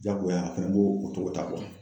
Jagoya a fɛnɛ bo o cogo ta